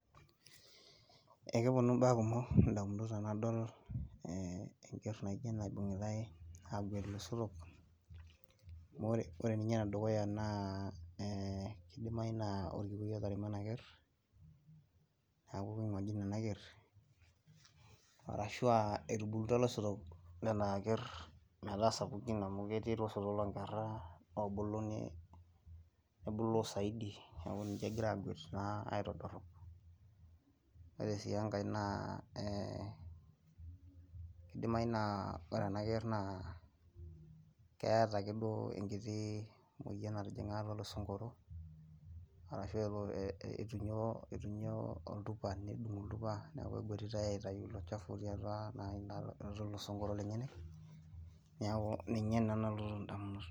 Ekeponu imbaa kumok ndamunit tenadol enkerr naaijo ena ibung'itai aaguet iloisotok ore ninye enedukuya naa ee kidimayu naa orkikuoi otaremo ena kerr neeku keng'ojine ena kerr arashu aa etubulutua iloisotok lena kerr aa sapukin amu ketii iloisotok loonkerra oobulu elo nebulo saidi neeku kegira aaguet naa aitodorrop, ore sii enkae naa idimayu naa ore ena kerr naa keeta ake duo enkiti moyian natijing'a atua ilsonkoro arashu aa itunyuo oltupa nedung' oltupa neeku eguatitai aitayu ilo chafu otii atua ilosonkoro lenyenak neeku ninye naa nalotu indamunot.